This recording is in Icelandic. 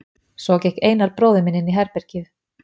Svo gekk Einar bróðir inn í herbergið.